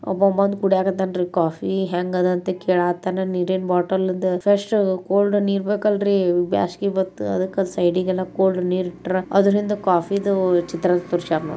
ಒಬ್ಬ ಬಂದ್ ಕುಡ್ಯಾಕ್ ಹತ್ತಾನ್ ರ್ರೀ ಕಾಫಿ ಹೆಂಗದಾ ಅಂತ ಕಕೇಳತಾನ ನೀರಿನ್ ಬಾಟ್ಟಲ್ದು ಫ್ರೆಷು ಕೋಲ್ದು ನೀರ್ ಬೇಕಲ್ರರೀ ಬ್ಯಾಸ್ಗಿ ಬತ್ತಾ ಅದಕ್ಕ ಸೈಡಿಗಲ್ಲಾ ಕೋಲ್ಡ್ ನೀರಿಟ್ಟರ್ರ ಅದ್ರಿಂದಾ ಕಾಫಿದು ಚಿತ್ರ ತೋರ್ಸ್ಯಾರ್ ನೋ--